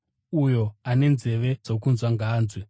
Uyo ane nzeve dzokunzwa ngaanzwe.”